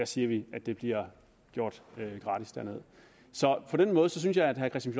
siger vi at de bliver gjort gratis så på den måde synes jeg at herre kristian